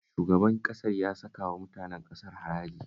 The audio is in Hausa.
Shugaban ƙasar ya saka wa mutanen ƙasar haraji